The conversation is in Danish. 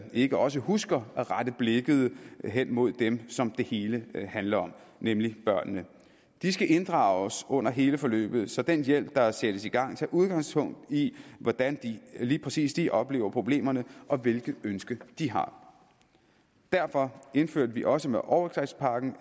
ikke også husker at rette blikket mod dem som det hele handler om nemlig børnene de skal inddrages under hele forløbet så den hjælp der sættes i gang tager udgangspunkt i hvordan lige præcis de oplever problemerne og hvilke ønsker de har derfor indførte vi også med overgrebspakken